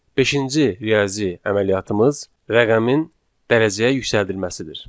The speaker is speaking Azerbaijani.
Beşinci riyazi əməliyyatımız rəqəmin dərəcəyə yüksəldilməsidir.